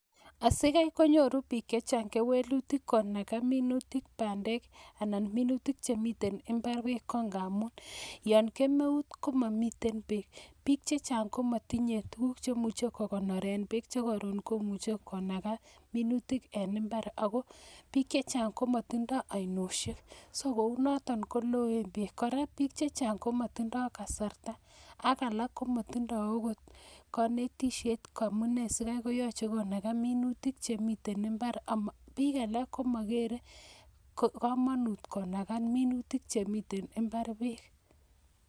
Asi ko nyoru biik chechang keleweutik ko min pandek ana ko minutik en imbar yoon kemeut ko momi beek, biik che chang ko matinye tuguk che imuuch ko kondoree beek che imuch konaga minutik en imbar ago biik che chang ko matinye ainosheek, ako loen beek kora biik chechang komatinye kasarta ak kanetishet akobo amunee sikobo kamanut kenaga beek minutik en imbar ako biik alak ko ma kere amune sikobo kamanut kenaga minutik beek.